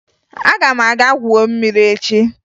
Aga m aga gwuo mmiri echi